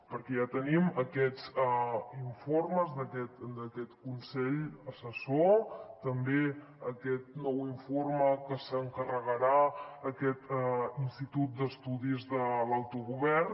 perquè ja tenim aquests informes d’aquest consell assessor també aquest nou informe que s’encarregarà a aquest institut d’estudis de l’autogovern